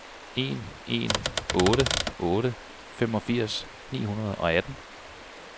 en en otte otte femogfirs ni hundrede og atten